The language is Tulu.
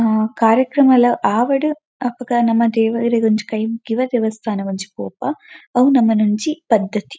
ಉಮ್ ಕಾರ್ಯಕ್ರಮಲ್ ಆವಡ್ ಅಪಗ ನಮ ದೇವೆರೆಗ್ ಒಂಜಿ ಕೈ ಮುಗ್ಗಿವ ದೇವಸ್ಥಾನಗ್ ಒಂಜಿ ಪೋಪ ಅವು ನಮನ ಒಂಜಿ ಪದ್ಧತಿ.